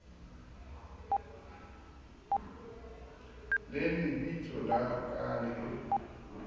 le lebitso la ka le